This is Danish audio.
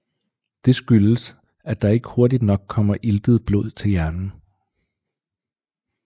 Det skyldes at der ikke hurtigt nok kommer iltet blod til hjernen